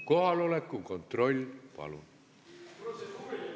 Kohaloleku kontroll, palun!